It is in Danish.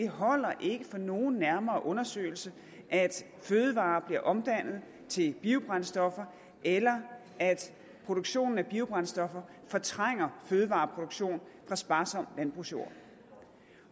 holder for nogen nærmere undersøgelse at fødevarer bliver omdannet til biobrændstoffer eller at produktionen af biobrændstoffer fortrænger fødevareproduktion fra sparsom landbrugsjord